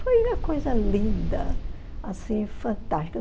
Foi uma coisa linda, assim, fantástica.